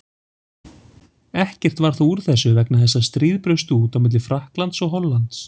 Ekkert varð þó úr þessu vegna þess að stríð braust út milli Frakklands og Hollands.